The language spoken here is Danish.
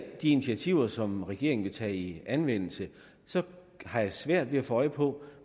de initiativer som regeringen vil tage i anvendelse har jeg svært ved at få øje på